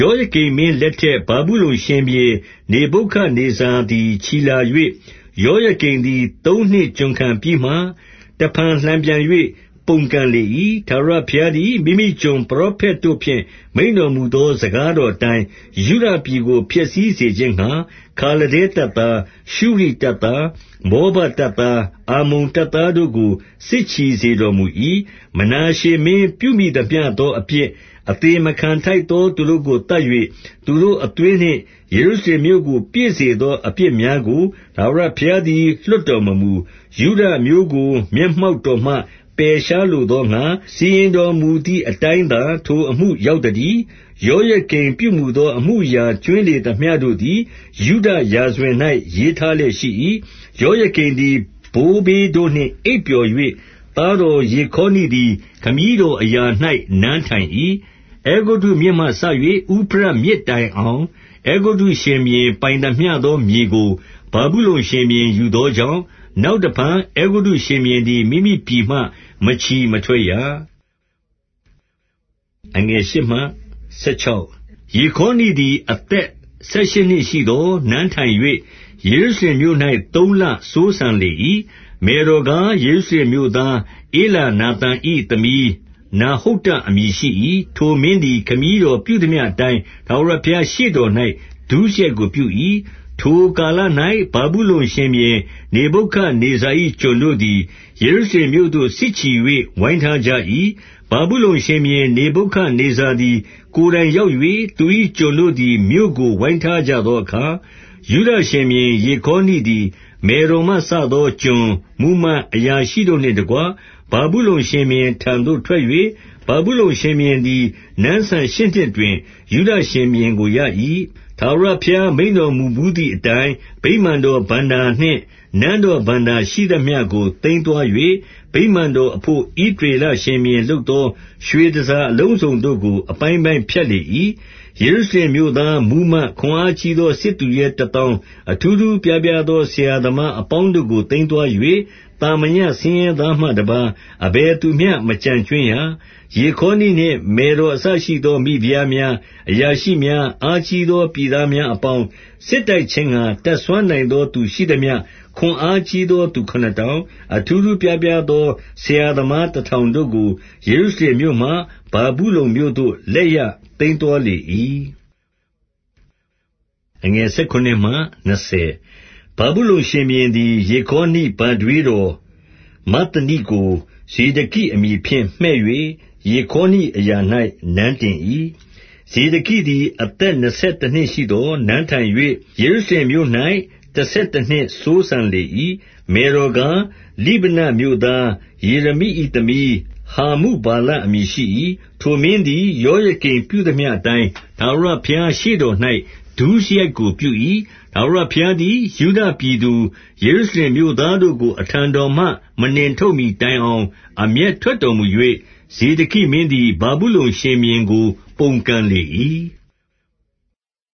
ယောယကိမ်မင်းလက်ထက် ဗာဗုလုန်ရှင်ဘုရင် နေဗုခဒ်နေဇာသည် ချီလာ၍၊ ယောယကိမ်သည် သုံးနှစ် ကျွန်ခံပြီးမှ တဖန်လှန်ပြန်၍ ပုန်ကန်လေ၏။ 2 ထာဝရဘုရားသည် မိမိကျွန်ပရောဖက်တို့ဖြင့် မိန့်တော်မူသော စကားတော်အတိုင်း၊ ယုဒပြည်ကို ဖျက်သိမ်းစေခြင်းငှါ၊ ခါလဒဲတပ်သား၊ ရှုရိတပ်သား၊ မောဘတပ်သား၊ အမ္မုန်တပ်သားတို့ကို စစ်ချီစေတော် မူ၏။ 3 မနောရှမင်းပြုမိသမျှသောအပြစ်၊ 4 အသေမခံထိုက်သော သူတို့ကို သတ်၍ သူတို့ အသွေးနှင့် ယေရုရှလင်မြို့ကို ပြည့်စေသော အပြစ်များ ကို ထာဝရဘုရားသည် လွှတ်တော်မမူ။ ယုဒအမျိုးကို မျက်မှောက်တော်မှ ပယ်ရှားလိုသောငှါ စီရင်တော်မူသည် အတိုင်းသာ ထိုအမှုရောက်သတည်း။ 5 ယောယကိမ်ပြုမူသော အမှုအရာကြွင်းလေ သမျှတို့သည် ယုဒရာဇဝင်၌ ရေးထားလျက်ရှိ၏။ 6 ယောယကိမ်သည် ဘိုးဘေးတို့နှင့် အိပ်ပျော်၍၊ သားတော် ယေခေါနိသည် ခမည်းတော်အရာ၌ နန်းထိုင်၏။ 7 အဲဂုတ္တုမြစ်မှစ၍ ဥဖရတ်မြစ်တိုင်အောင် အဲဂုတ္တုရှင်ဘုရင်ပိုင်သမျှသော မြေကို ဗာဗုလုန်ရှင်ဘုရင် သောကြောင့်၊ နောက်တဖန် အဲဂုတ္တုရှင်ဘုရင်သည် မိမိပြည်မှ မချီမထွက်ရ။ 8 ယေခေါနိသည် အသက်ဆယ်ရှစ်နှစ်ရှိသော် နန်းထိုင်၍ ယေရုရှလင်မြို့၌ သုံးလစိုးစံလေ၏။ မယ်တော်ကား၊ ယေရုရှလင်မြို့သား ဧလနာ သန်၏သမီး နဟုတ္တအမည်ရှိ၏။ 9 ထိုမင်းသည် ခမည်းတော်ပြုသမျှအတိုင်း ထာဝရဘုရား ရှေ့တော်၌ဒုစရိုက်ကိုပြု၏။ 10 ထိုကာလ၌ ဗာဗုလုန်ရှင်ဘုရင် နေဗုခဒ်နေဇာ ၏ ကျွန်တို့သည် ယေရုရှလင်မြို့သို့စစ်ချီ၍ ဝိုင်းထားကြ ၏။ 11 ဗာဗုလုန်ရှင်ဘုရင် နေဗုခဒ်နေဇာသည် ကိုယ်တိုင်ရောက်၍၊ သူ၏ကျွန်တို့သည် မြို့ကို ဝိုင်းထား ကြသောအခါ၊ 12 ယုဒရှင်ဘုရင် ယေခေါနိသည် မယ်တော်မှစသော ကျွန်၊ မှူးမတ်၊ အရာရှိတို့နှင့်တကွ ဗာဗုလုန် ရှင်ဘုရင်ထံသို့ ထွက်၍ ဗာဗုလုန်ရှင်ဘုရင်သည် နန်းစံ ရှစ်နှစ်တွင် ယုဒရှင်ဘုရင်ကိုရ၏။ 13 ထာဝရဘုရား မိန့်တော်မူဘူးသည်အတိုင်း ဗိမာန်တော်ဘဏ္ဍာနှင့် နန်းတော်ဘဏ္ဍာရှိသမျှကို သိမ်း သွား၍၊ ဗိမာန်တော်အဘို့ ဣသရေလ ရှင်ဘုရင်လုပ် သော ရွှေတန်ဆာအလုံးစုံတို့ကို အပိုင်းပိုင်းဖြတ်လေ၏။ 14 ယေရုရှလင်မြို့သား မှူးမတ်၊ ခွန်အားကြီးသော စစ်သူရဲတသောင်း၊ အထူးထူးအပြားပြားသော ဆရာ သမားအပေါင်းတို့ကို သိမ်းသွား၍၊ သာမညဆင်းရဲသားမှ တပါးအဘယ်သူမျှ မကျန်ကြွင်းရ။ 15 ယေခေါနိနှင့် မယ်တော်အစရှိသော မိဖုရား များ၊ အရာရှိများ၊ အားကြီးသော ပြည်သားများ အပေါင်း၊ 16 စစ်တိုက်ခြင်းငှါ တတ်စွမ်းနိုင်သောသူ ရှိသမျှ၊ ခွန်အားကြီးသော လူခုနစ်ထောင်၊ အထူးထူးအပြား အပြားသော ဆရာသမားတထောင်တို့ကို ယေရုရှလင် မြို့မှ ဗာဗုလုန်မြို့သို့ လက်ရသိမ်းသွားလေ၏။ 17 ဗာဗုလုန် ရှင်ဘုရင်သည် ယေခေါနိ ဘထွေး တော်မဿနိကို ဇေဒကိအမည်ဖြင့်မှည့်၍ ယေခေါနိ အရာ၌ နန်းတင်၏။ 18 ဇေဒကိသည် အသက်နှစ်ဆယ်တနှစ်ရှိသော် နန်းထိုင်၍ ယေရုရှလင်မြို့၌တဆယ်တနှစ်စိုးစံလေ၏။ မယ်တော်ကား၊ လိဗနမြို့သား ယေရမိ၏သမီး ဟာမု ဘာလအမည်ရှိ၏။ 19 ထိုမင်းသည် ယောယကိမ်ပြုသမျှအတိုင်း ထာဝရဘုရား ရှေ့တော်၌ ဒုစရိုက်ကိုပြု၏။ 20 ထာဝရဘုရားသည် ယုဒပြည်သူ ယေရုရှလင် မြို့သားတို့ကို အထံတော်မှ မနှင့်ထုတ်မှီတိုင်အောင် အမျက်ထွက်တော်မူ၍၊ ဇေဒကိမင်းသည် ဗာဗုလုန် ရှင်ဘုရင်ကို ပုန်ကန်လေ၏။